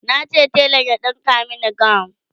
nace telan ya ɗinka Mani gawun